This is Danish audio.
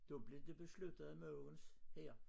Da blev det besluttet at Mogens her